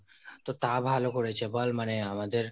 তো তা ভালো করেছে বল মানে আমাদের,